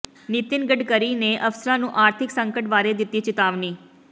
ਨਿਤਿਨ ਗਡਕਰੀ ਨੇ ਅਫਸਰਾਂ ਨੂੰ ਆਰਥਿਕ ਸੰਕਟ ਬਾਰੇ ਦਿੱਤੀ ਚਿਤਾਵਨੀ